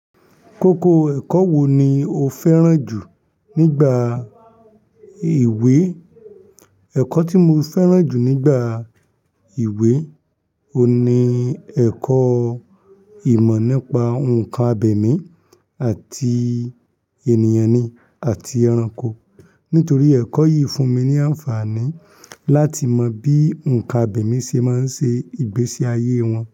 Kókó ẹ̀kọ́ wò ní o fẹ́ràn jù nígbà ewé? Ẹ̀kọ́ tí mo fẹ́ràn jù nígbà ewé oun ni ẹ̀kọ́ ìmọ̀ nípa nǹkan abẹ̀mí àti ènìyàn ni, àti ẹranko. Nítorí ẹ̀kọ́ yìí fún mi ní àǹfààní láti mọ bí nǹkan abẹ̀mí ṣe máa ń ṣe ìgbésí ayé wọn.